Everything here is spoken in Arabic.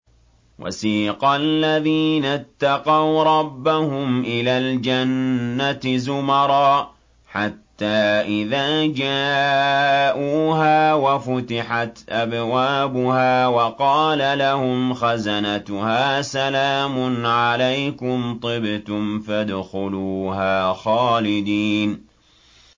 وَسِيقَ الَّذِينَ اتَّقَوْا رَبَّهُمْ إِلَى الْجَنَّةِ زُمَرًا ۖ حَتَّىٰ إِذَا جَاءُوهَا وَفُتِحَتْ أَبْوَابُهَا وَقَالَ لَهُمْ خَزَنَتُهَا سَلَامٌ عَلَيْكُمْ طِبْتُمْ فَادْخُلُوهَا خَالِدِينَ